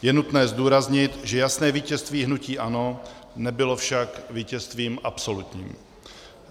Je nutné zdůraznit, že jasné vítězství hnutí ANO nebylo však vítězstvím absolutním.